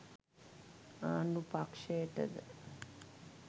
ආණ්ඩු පක්ෂයටද